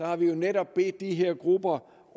har netop bedt de her grupper